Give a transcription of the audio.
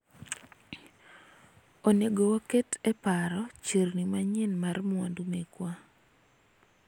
onego waket e paro chirni manyien mar mwandu mekwa